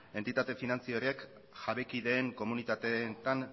entitate finantziarioak jabekideen komunitateetan